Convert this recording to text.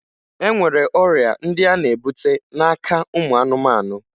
E nwere ọrịa ndị a na-ebute n'aka ụmụ anụmanụ